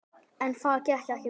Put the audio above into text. En það gekk ekki vel.